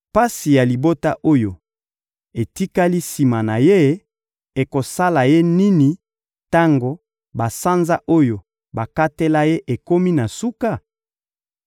Pasi ya libota oyo etikali sima na ye ekosala ye nini tango basanza oyo bakatela ye ekomi na suka?